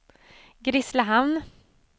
Grisslehamn